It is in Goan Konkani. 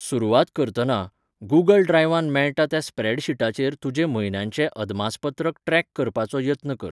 सुरवात करतना, गूगल ड्रायव्हांत मेळटा त्या स्प्रॅडशीटाचेर तुजें म्हयन्याचें अदमासपत्रक ट्रॅक करपाचो यत्न कर.